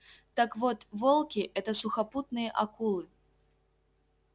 так вот волки это сухопутные акулы